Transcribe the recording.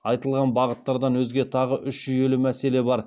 айтылған бағыттардан өзге тағы үш жүйелі мәселе бар